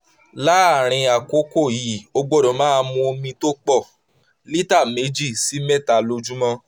láàárín àkókò yìí o gbọ́dọ̀ máa mu omi tó pọ̀ (lílíta méjì sí mẹ́ta lójúmọ́)